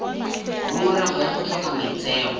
ngongorego ya go tlhoka maitseo